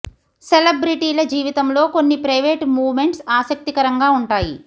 సెలబ్రెటీల జీవితంలో కొన్ని private moments ఆసక్తికరంగా ఉంటాయి